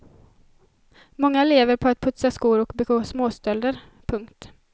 Många lever på att putsa skor och begå småstölder. punkt